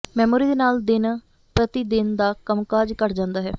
memory ਦੇ ਨਾਲ ਦਿਨ ਪ੍ਰਤੀ ਦਿਨ ਦਾ ਕੰਮਕਾਜ ਘਟ ਜਾਂਦਾ ਹੈ